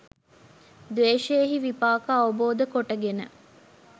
ද්වේෂයෙහි විපාක අවබෝධ කොට ගෙන